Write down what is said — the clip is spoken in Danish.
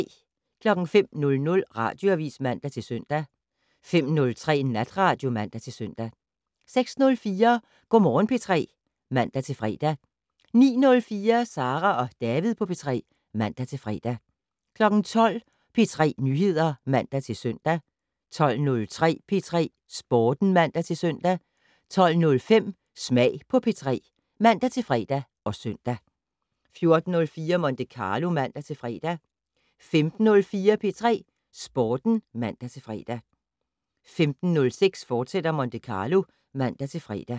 05:00: Radioavis (man-søn) 05:03: Natradio (man-søn) 06:04: Go' Morgen P3 (man-fre) 09:04: Sara og David på P3 (man-fre) 12:00: P3 Nyheder (man-søn) 12:03: P3 Sporten (man-søn) 12:05: Smag på P3 (man-fre og søn) 14:04: Monte Carlo (man-fre) 15:04: P3 Sporten (man-fre) 15:06: Monte Carlo, fortsat (man-fre)